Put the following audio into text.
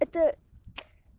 это